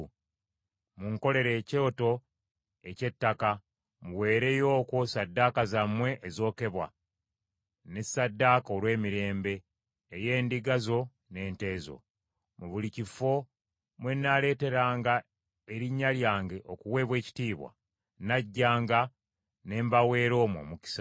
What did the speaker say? “ ‘Munkolere ekyoto eky’ettaka, muweereyo okwo ssaddaaka zammwe ezookebwa, n’essaddaaka olw’emirembe, ey’endiga zo n’ente zo. Mu buli kifo mwe nnaaleeteranga erinnya lyange okuweebwa ekitiibwa, nnajjanga ne mbaweera omwo omukisa.